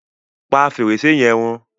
Pà fẹ́rẹ̀ṣẹ̀ yẹ̀n rún!